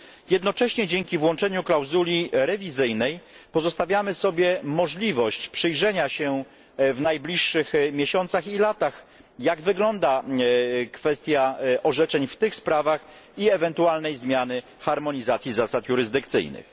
Jednocześnie dzięki włączeniu klauzuli rewizyjnej pozostawiamy sobie możliwość przyjrzenia się w najbliższych miesiącach i latach, jak wygląda kwestia orzeczeń w tych sprawach, i ewentualnej zmiany harmonizacji zasad jurysdykcyjnych.